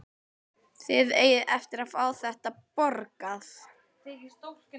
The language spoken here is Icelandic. Þið eigið eftir að fá þetta borgað!